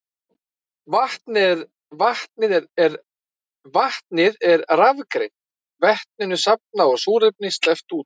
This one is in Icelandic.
Vatnið er rafgreint, vetninu safnað en súrefni sleppt út.